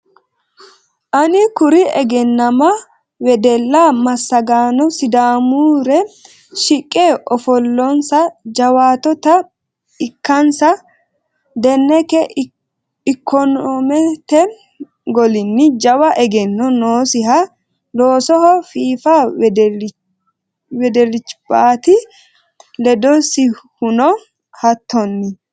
Ani kuri egennama wedella massagaano sidaamure shiqqe afoommonsa jawattota ikkansa Deneke ikonomete golinni jawa egenno noosinna loosoho fiifa wedelicbati ledosihuno hattonni.